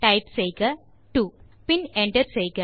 type செய்க 2 பின் enter செய்க